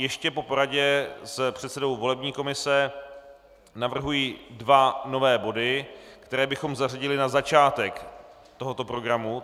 Ještě po poradě s předsedou volební komise navrhuji dva nové body, které bychom zařadili na začátek tohoto programu.